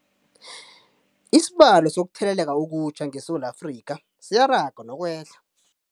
Isibalo sokutheleleka okutjha ngeSewula Afrika siyaraga nokwehla.